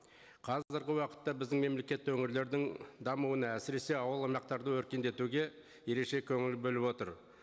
қазіргі уақытта біздің мемлекетте өңірлердің дамуына әсіресе ауыл аймақтарды өркендетуге ерекше көңіл бөліп отыр